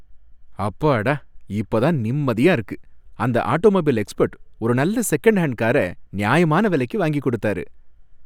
அப்பாடா! இப்பதான் நிம்மதியா இருக்கு. அந்த ஆட்டோமொபைல் எக்ஸ்பர்ட் ஒரு நல்ல செகண்ட் ஹேண்ட் காரை நியாயமான விலைக்கு வாங்கி கொடுத்தாரு.